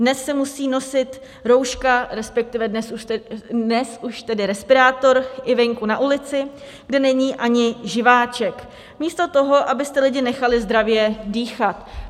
Dnes se musí nosit rouška, respektive dnes už tedy respirátor, i venku na ulici, kde není ani živáček, místo toho, abyste lidi nechali zdravě dýchat.